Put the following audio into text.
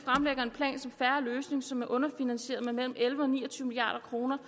en som er underfinansieret med mellem elleve milliard og ni og tyve milliard kroner